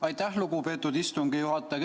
Aitäh, lugupeetud istungi juhataja!